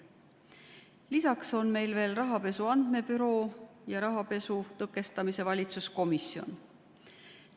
Lisaks on meil Rahapesu Andmebüroo ja rahapesu tõkestamise valitsuskomisjon.